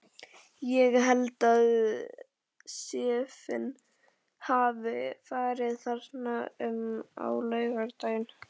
Ég held að séffinn hafi farið þarna um á laugardaginn.